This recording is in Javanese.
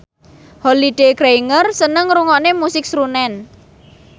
Holliday Grainger seneng ngrungokne musik srunen